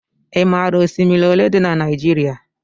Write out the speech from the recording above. I maara osimiri olé dị n' Naijiria?